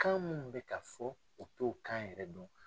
Kan mun bɛ ka fɔ u t'o kan yɛrɛ dɔn.